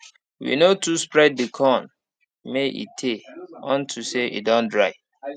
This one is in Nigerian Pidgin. we no too spread the corn may e tay unto say e don dry